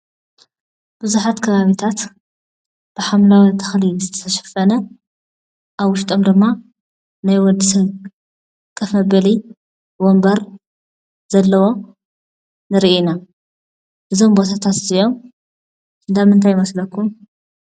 ብዙሓት ከባቢታት ብሓምለዋይ ተኽሊ ዝተሸፈነ ኣብ ውሽጦም ድማ ናይ ወድሰብ ኮፍ መበሊ ወንበር ዘለዎ ንርኢ ኢና፡፡ እዞም ቦታታት እዚኦም እንዳ ምንታይ ይመስለኩም?